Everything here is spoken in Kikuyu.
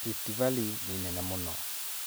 Rift Valley nĩ nene mũno.